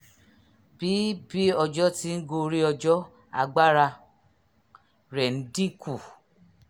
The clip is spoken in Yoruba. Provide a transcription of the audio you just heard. bí bí ọjọ́ ti ń gorí ọjọ́ agbára rẹ̀ ń dín kù